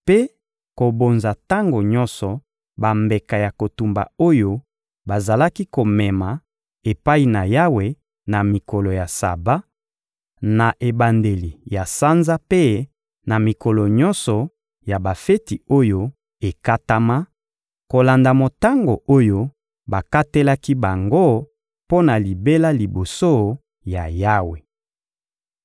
mpe kobonza tango nyonso bambeka ya kotumba oyo bazalaki komema epai na Yawe na mikolo ya Saba, na ebandeli ya sanza mpe na mikolo nyonso ya bafeti oyo ekatama, kolanda motango oyo bakatelaki bango mpo na libela liboso ya Yawe.